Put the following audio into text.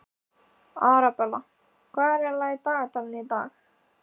Arabella, hvað er í dagatalinu í dag?